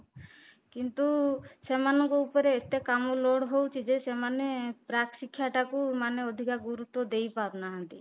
କିନ୍ତୁ ସେମାନଙ୍କ ଉପରେ ଏତେ କାମ load ହଉଛି ଯେ ସେମାନେ ପ୍ରାକ ଶିକ୍ଷା ଟାକୁ ମାନେ ଅଧିକ ଗୁରୁତ୍ୱ ଦେଇପାରୁନାହାନ୍ତି